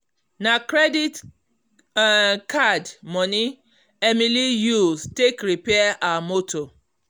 na credit um card moni emily use take repair her moto